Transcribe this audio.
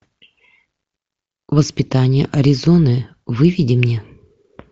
воспитание аризоны выведи мне